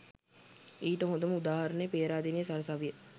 ඊට හොඳම උදාහරණය පේරාදෙණිය සරසවිය